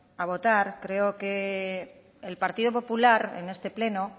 a votar creo que el partido popular en este pleno